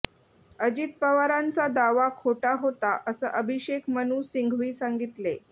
अजित पवारांचा दावा खोटा होता असं अभिषेक मनु सिंघवी सांगितले